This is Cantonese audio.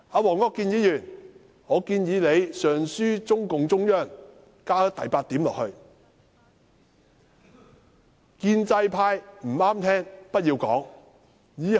黃國健議員，我建議你上書中共中央，加上第八點，就是"建制派不中聽的言論不要講"。